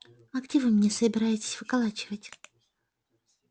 а где вы меня собираетесь выколачивать